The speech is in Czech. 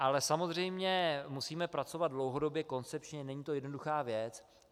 Ale samozřejmě musíme pracovat dlouhodobě, koncepčně, není to jednoduchá věc.